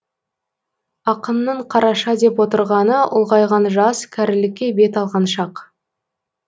ақынның қараша деп отырғаны ұлғайған жас кәрілікке бет алған шақ